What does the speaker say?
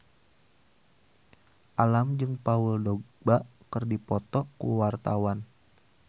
Alam jeung Paul Dogba keur dipoto ku wartawan